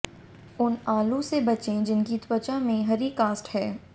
उन आलू से बचें जिनकी त्वचा में हरी कास्ट है